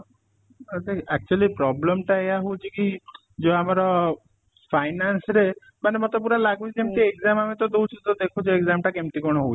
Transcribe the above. ଆ ଦେଖେ actually problem ଟା ଏଇଆ ହଉଚି କି ଯୋଉ ଆମର finance ରେ ମାନେ ମତେ ପୁରା ଲାଗୁଚି ଯେମିତି exam ଆମେ ତ ଦଉଚୁ ତ ଦେଖୁଚୁ exam ତା କେମିତି କଣ ହଉଚି